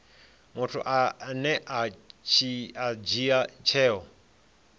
muthu ane a dzhia tsheo